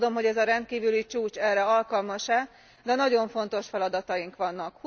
Nem tudom, hogy ez a rendkívüli csúcs erre alkalmas e, de nagyon fontos feladataink vannak.